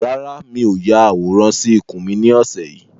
Rárá, mi ò ya àwòrán sì ikùn mi ni ọ̀sẹ̀ yìí